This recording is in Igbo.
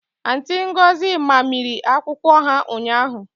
Auntị Ngọzi mamịrị akwụkwọ ha ụnyaahụ